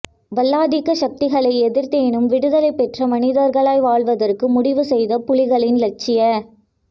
வல்லாதிக்க சக்திகளை எதிர்த்தேனும் விடுதலை பெற்ற மனிதர்களாய் வாழ்வதற்கு முடிவுசெய்த புலிகளின் இலட்சிய